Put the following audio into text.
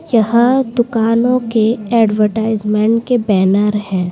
यहाँ दुकानों के एडवरटाईसेमेंट के बैनर हैं ।